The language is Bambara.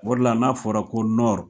O de la, n'a fɔra ko Nɔri